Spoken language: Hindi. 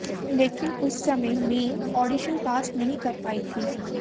लेकिन उस समय मैं ऑडिशन पास नहीं कर पाई थी